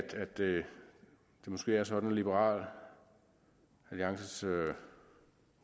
det måske er sådan at liberal alliances